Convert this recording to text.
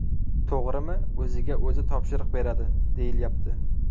To‘g‘rimi, o‘ziga o‘zi topshiriq beradi, deyilyapti.